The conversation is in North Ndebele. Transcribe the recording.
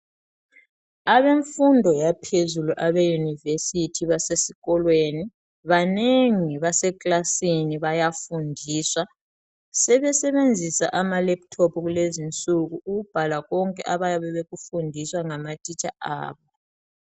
Abemfundo yaphezulu abe university basesikolweni banengi base kilasini bayafundiswa sebesebenzisa ama laptop kulezi nsuku ukubhala konke abayabe bekufundiswa ngama teacher abo.